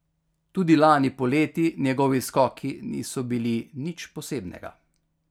Tudi lani poleti njegovi skoki niso bili nič posebnega.